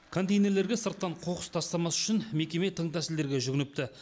контейнерлерге сырттан қоқыс тастамас үшін мекеме тың тәсілдерге жүгініпті